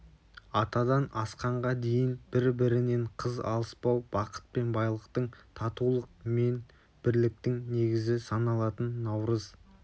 атадан асқанға дейін бір-бірінен қыз алыспау бақыт пен байлықтың татулық мен бірліктің негізі саналатын наурыз